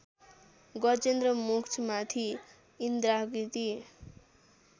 गजेन्द्र मोक्षमाथि इन्द्राकृति